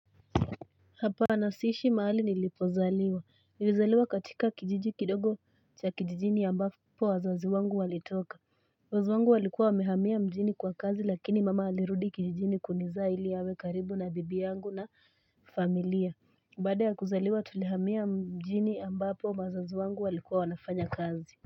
Hapana siishi mahali nilipozaliwa. Nilizaliwa katika kijiji kidogo cha kijijini ambapo wazazi wangu walitoka. Wazazi wangu walikuwa wamehamia mjini kwa kazi lakini mama alirudi kijijini kuniza ili awe karibu na bibi yangu na familia. Baada ya kuzaliwa, tulihamia mjini ambapo wazazi wangu walikuwa wanafanya kazi.